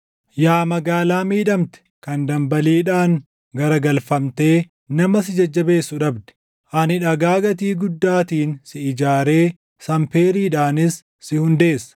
“Yaa magaalaa miidhamte kan dambaliidhaan garagalfamtee // nama si jajjabeessu dhabde, ani dhagaa gatii guddaatiin si ijaaree sanpeeriidhaanis si hundeessa.